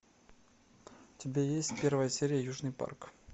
у тебя есть первая серия южный парк